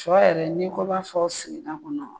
Sɔ yɛrɛ n'i ko i b'a fɔ sigida kɔnɔ